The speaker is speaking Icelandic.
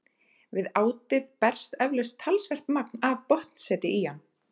Við átið berst eflaust talsvert magn af botnseti í hann.